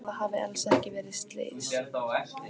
Að það hafi alls ekki verið slys.